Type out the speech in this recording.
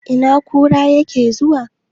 Ina kura yake zuwa?